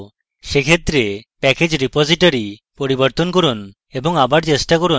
সেক্ষেত্রে package repository পরিবর্তন করুন এবং আবার চেষ্টা করুন